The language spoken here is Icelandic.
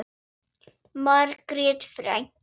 Margrét frænka.